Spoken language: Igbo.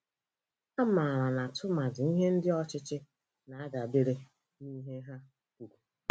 A mara na tụmadi ihe ndị ọchịchị na-adabere n'ihe ha kwuru.